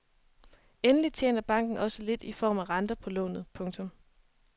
Endelig tjener banken også lidt i form af renter på lånet. punktum